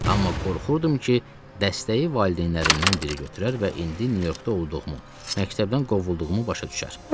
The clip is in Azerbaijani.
Amma qorxurdum ki, dəstəyi valideynlərimdən biri götürər və indi Nyu-Yorkda olduğumu, məktəbdən qovulduğumu başa düşər.